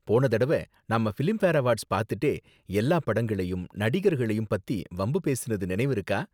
போன தடவ நாம பிலிம்பேர் அவார்ட்ஸ் பாத்துட்டே எல்லா படங்களையும் நடிகர்களையும் பத்தி வம்பு பேசினது நினைவிருக்கா?